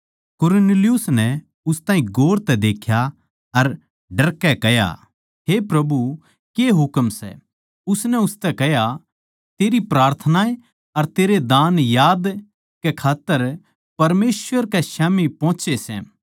कुरनेलियुस नै उस ताहीं गौर तै देख्या अर डरकै कह्या हे प्रभु के हुकम सै उसनै उसतै कह्या तेरी प्रार्थनाएँ अर तेरे दान याद कै खात्तर परमेसवर कै स्याम्ही पोहोचे सै